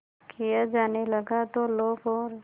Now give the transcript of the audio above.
किया जाने लगा तो लोग और